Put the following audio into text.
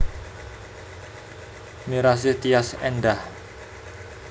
Mirasih Tyas Endah